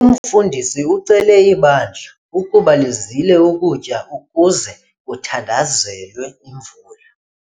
Umfundisi ucele ibandla ukuba lizile ukutya ukuze kuthandazelwe imvula.